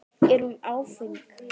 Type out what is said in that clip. Er hún áfeng?